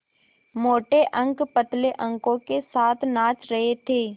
मोटे अंक पतले अंकों के साथ नाच रहे थे